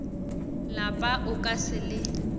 lapa o ka se le